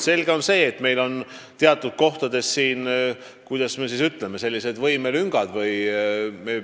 Selge see, et meil on teatud kohtades, kuidas öelda, sellised võimekuse lüngad.